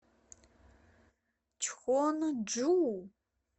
чхонджу